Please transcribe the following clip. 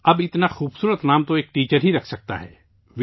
اب اتنا خوبصورت نام تو صرف ایک استاد ہی رکھ سکتا ہے